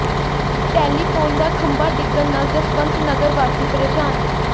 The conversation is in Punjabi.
ਟੈਲੀਫੋਨ ਦਾ ਖੰਬਾ ਡਿੱਗਣ ਨਾਲ ਜਸਵੰਤ ਨਗਰ ਵਾਸੀ ਪ੍ਰੇਸ਼ਾਨ